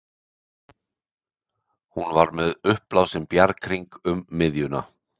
Hún var með uppblásinn bjarghring um miðjuna.